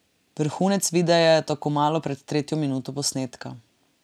Vrhunec videa je tako malo pred tretjo minuto posnetka.